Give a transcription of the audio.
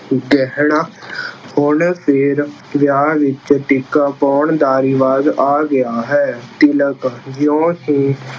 ਗਹਿਣਾ- ਹੁਣ ਫੇਰ ਵਿਆਹ ਵਿੱਚ ਟਿੱਕਾ ਪਾਉਣ ਦਾ ਰਿਵਾਜ਼ ਆ ਗਿਆ ਹੈ। ਤਿਲਕ- ਜਿਉਂ ਹੀ